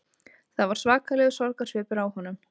Það var svakalegur sorgarsvipur á honum